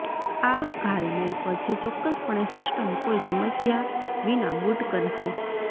આ ઘાલમેલ પછી ચોક્કસપણે સિસ્ટમ કોઇ સમસ્યા વિના બુટ કરશે